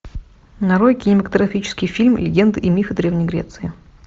нарой кинематографический фильм легенды и мифы древней греции